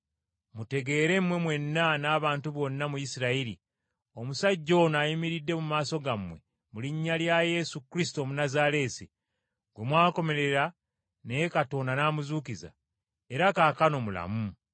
mutegeere mmwe mwenna n’abantu bonna mu Isirayiri, omusajja ono ayimiridde mu maaso gammwe mu linnya lya Yesu Kristo Omunnazaaleesi, gwe mwakomerera naye Katonda n’amuzuukiza, era kaakano mulamu.